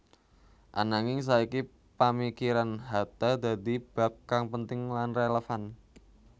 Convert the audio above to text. Ananging saiki pamikiran Hatta dadi bab kang penting lan relevan